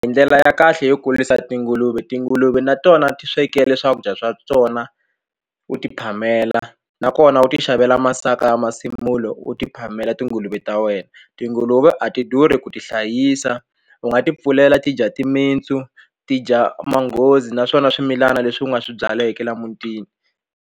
A hi ndlela ya kahle yo kurisa tinguluve tinguluve na tona ti swekele swakudya swa tona u ti phamela nakona u ti xavela masaka ya masimulo u ti phamela tinguluve live ta wena tinguluve a ti durhi ku tihlayisa u nga ti pfulela ti dya timintsu ti dya manghozi naswona swimilana leswi u nga swi byaleke la amutini.